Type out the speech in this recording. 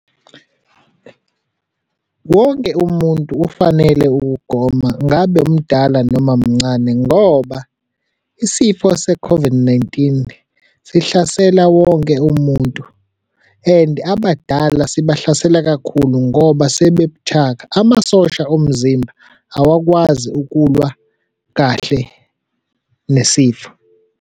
Wonke umuntu ufanele ukugoma ngabe mdala noma mncane ngoba isifo se-COVID-19 sihlasela wonke umuntu, and abadala sibahlasela kakhulu ngoba sebebuthaka. Amasosha omzimba awakwazi ukulwa kahle nesifo.